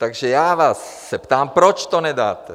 Takže já se vás ptám, proč to nedáte?